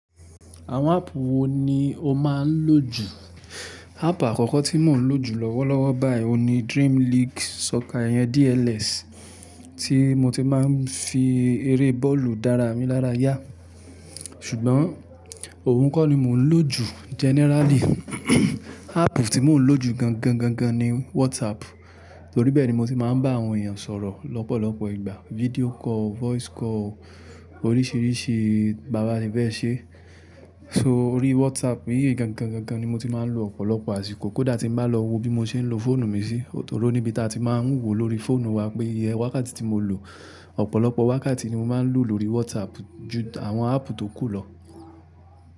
Àwọn áàpù wo ni o máa ń lò jù? Áàpù àkọ́kọ́ tí mò ń lò jù lọ́wọ́lọ́wọ́ báyìí ni Dream League Soccer iyẹn DLS, tí mo ti máa ń fi eré bọ́ọ̀lù dára mi lára yá. Ṣùgbọ́n òun kọ́ ni mò ń lò jù generally. Áàpù tí mò ń lò jù gangan, gangan ni WhatsApp, torí bẹ́ẹ̀ ni mo ti máa ń bá àwọn èèyàn sọ̀rọ̀ lọ́pọ̀lọpọ̀ ìgbà. Video call, voice call, oríṣìíríṣìí, bàbá sẹ fẹ́ ṣe. So orí WhatsApp yìí gangan, gangan ni mo ti máa ń lo ọ̀pọ̀lọpọ̀ àsìkò. Kódà tí mo bá lọ wo bí mo ṣe ń lo fóònù mi sí, torí níbi tí a ti máa ń wòó lórí fóònù wa pé iye wákàtí tí mo lò, ọ̀pọ̀lọpọ̀ wákàtí ni mo máa ń lò lórí WhatsApp ju àwọn áàpù tó kù lọ.